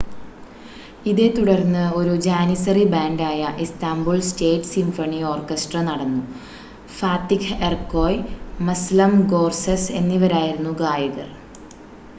ഇതേത്തുടർന്ന് ഒരു ജാനിസറി ബാൻഡായ ഇസ്താംബുൾ സ്റ്റേറ്റ് സിംഫണി ഓർക്കസ്ട്ര നടന്നു ഫാത്തിഹ് എർക്കോയ് മസ്ലം ഗോർസെസ് എന്നിവരായിരുന്നു ഗായകർ